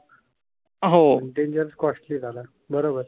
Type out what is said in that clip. बरोबर